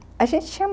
A gente tinha...